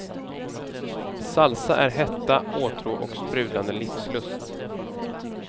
Salsa är hetta, åtrå och sprudlande livslust.